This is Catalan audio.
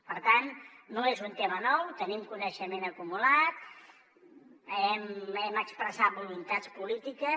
per tant no és un tema nou tenim coneixement acumulat hem expressat voluntats polítiques